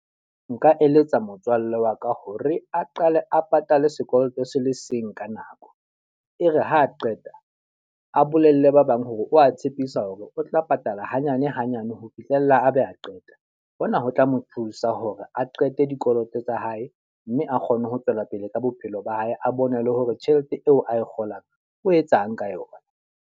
Nka eletsa motswalle wa ka hore a qale a patale sekoloto se le seng ka nako. E re ha a qeta, a bolelle ba bang hore o a tshepisa hore o tla patala hanyane hanyane ho fihlela a be a qeta. Hona ho tla mo thusa hore a qete dikoloto tsa hae mme a kgone ho tswela pele ka bophelo ba hae. A bone le hore tjhelete eo ae kgolang o etsang ka yona.